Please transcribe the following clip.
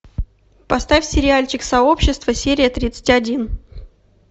поставь сериальчик сообщество серия тридцать один